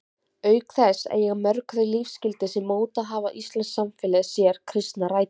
Auk þess eiga mörg þau lífsgildi sem mótað hafa íslenskt samfélag sér kristnar rætur.